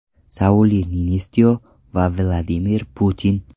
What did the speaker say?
Sauli Niinistyo va Vladimir Putin.